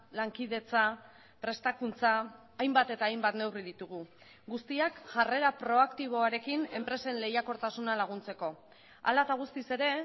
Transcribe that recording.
lankidetza prestakuntza hainbat eta hainbat neurri ditugu guztiak jarrera proaktiboarekin enpresen lehiakortasuna laguntzeko hala eta guztiz ere